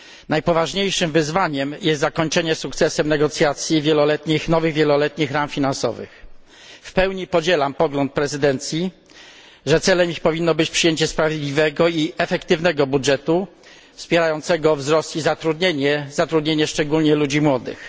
Najpoważniejszym wyzwaniem jest zakończenie sukcesem negocjacji nad nowymi wieloletnimi ramami finansowymi. W pełni podzielam pogląd prezydencji, że celem ich powinno być przyjęcie sprawiedliwego i efektywnego budżetu wspierającego wzrost i zatrudnienie, zatrudnienie szczególnie ludzi młodych.